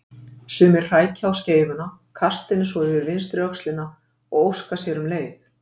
Sumir hrækja á skeifuna, kasta henni svo yfir vinstri öxlina og óska sér um leið.